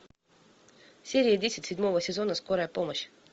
серия десять седьмого сезона скорая помощь